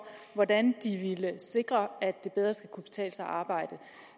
hvordan de ville sikre at det bedre skulle kunne betale sig at arbejde